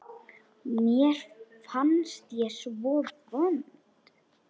Mér fannst ég svo vond.